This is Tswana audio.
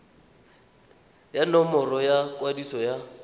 ya nomoro ya kwadiso ya